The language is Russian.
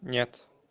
нет